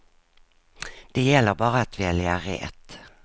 Det gäller bara att välja rätt.